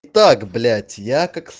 так блять я